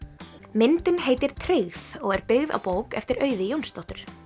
myndin heitir tryggð og er byggð á bók eftir Auði Jónsdóttur